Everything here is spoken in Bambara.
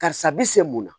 Karisa bi se mun na